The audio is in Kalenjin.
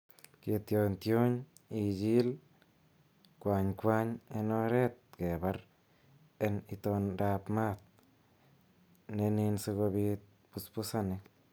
Ketionyotiony, ichil kwanykwanyik en oretab kebar en itondab maat ne nin sikobiit busbusanik.